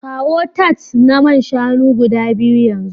Kawo tarts na man shanu guda biyu yanzu